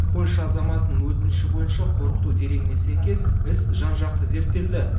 польша азаматының өтініші бойынша қорқыту дерегіне сәйкес іс жан жақты зерттелді